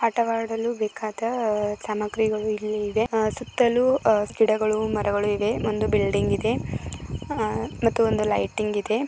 ಆಟ ಆಡುವ ಬೇಕಾದ ಸಾಮಗ್ರಿಗಳು ಇಲ್ಲಿ ಇವೆ. ಸುತಲೂ ಗಿಡ ಗಳು ಮರಗಳು ಇವೆ. ಒಂದು ಬಿಲ್ಡಿಂಗ್ ಇದೆ ಮತ್ತು ಒಂದು ಲೈಟಿಂಗ್ ಇದೆ.